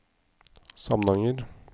Samnanger